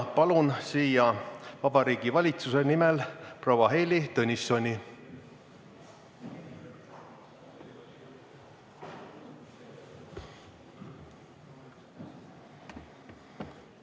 Palun siia Vabariigi Valitsuse nimel proua Heili Tõnissoni!